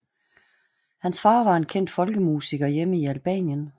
Hans far var en kendt folkemusiker hjemme i Albanien